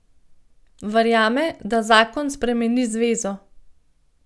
Verjame, da zakon spremeni zvezo.